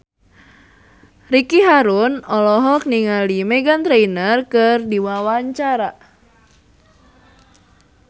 Ricky Harun olohok ningali Meghan Trainor keur diwawancara